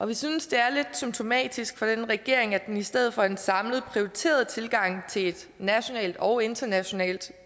vi synes det er lidt symptomatisk for denne regering at den i stedet for en samlet prioriteret tilgang til et nationalt og internationalt